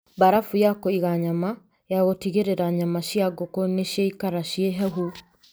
Mbarabu ya kũiga nyama: Ya gũtigĩrĩra nyama cia ngũkũ nĩciaikara ciĩ hehu.